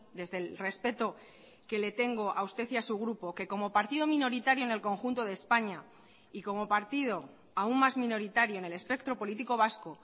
desde el respeto que le tengo a usted y a su grupo que como partido minoritario en el conjunto de españa y como partido aún más minoritario en el espectro político vasco